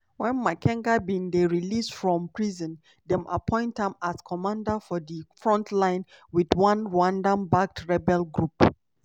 wen makenga bin dey released from prison dem appoint am as commander for di front line wit one rwanda backed rebel group.